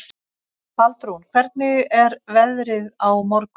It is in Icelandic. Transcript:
Baldrún, hvernig er veðrið á morgun?